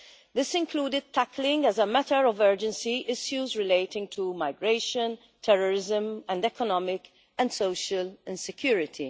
This included tackling as a matter of urgency issues relating to migration, terrorism and economic and social insecurity.